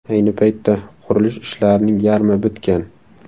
Ayni paytda qurilish ishlarining yarmi bitgan.